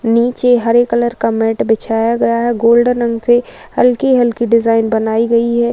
नीचे हरे कलर का मैट बिछाया गया है। गोल्डन रंग से हल्की-हल्की डिज़ाइन बनाई गई है।